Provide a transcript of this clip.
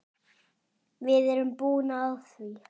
Við erum búin á því.